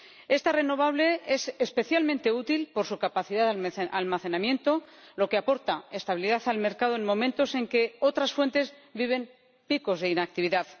Esta renovable es especialmente útil por su capacidad de almacenamiento, lo que aporta estabilidad al mercado en momentos en que otras fuentes viven picos de inactividad.